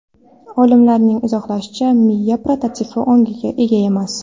Olimlarning izohlashicha, miya prototipi ongga ega emas.